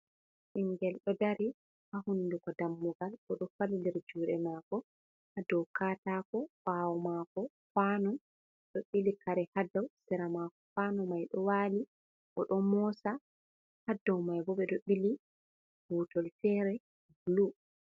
Ɓingel ɗo dari ha hunduko dammugal bo do falilir juɗe mako ha dow katako ɓawo mako kawnu ɗo ɓili kare ha dou sera mako kwanu mai do wali bo don mosa ha dou mai bo ɓeɗo bili butol fere bulu.